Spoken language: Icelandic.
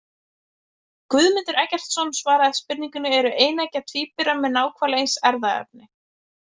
Guðmundur Eggertsson svaraði spurningunni Eru eineggja tvíburar með nákvæmlega eins erfðaefni?